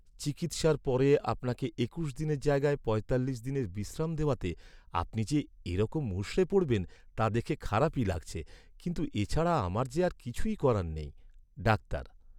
চিকিৎসার পরে আপনাকে একুশ দিনের জায়গায় পঁয়তাল্লিশ দিনের বিশ্রাম দেওয়াতে আপনি যে এরকম মূষড়ে পড়বেন তা দেখে খারাপই লাগছে, কিন্তু এছাড়া আমার যে আর কিছুই করার নেই। ডাক্তার